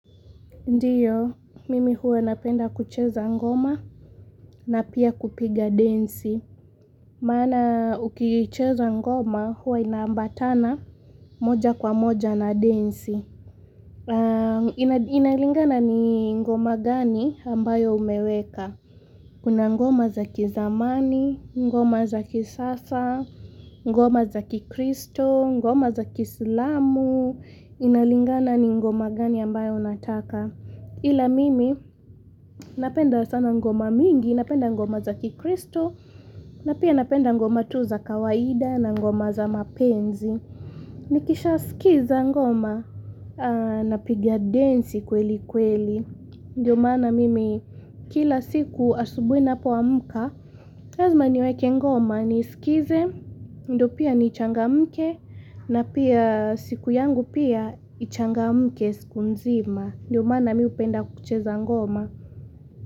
Ndiyo, mimi huwa napenda kucheza ngoma na pia kupiga densi. Maana, ukicheza ngoma huwa ina ambatana moja kwa moja na densi. Inalingana ni ngoma gani ambayo umeweka? Kuna ngoma za kizamani, ngoma za kisasa, ngoma za kikristo, ngoma za kiislamu, inalingana ni ngoma gani ambayo unataka. Ila mimi napenda sana ngoma mingi, napenda ngoma za kikristo na pia napenda ngoma tu za kawaida na ngoma za mapenzi Nikisha skiza ngoma napigia densi kweli kweli Ndiyo maana mimi kila siku asubuhi napoamka lazma niweke ngoma niskize, ndio pia nichangamke na pia siku yangu pia ichangamke siku nzima Ndio maana mi hupenda kucheza ngoma.